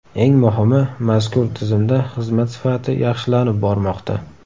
Eng muhimi, mazkur tizimda xizmat sifati yaxshilanib bormoqda.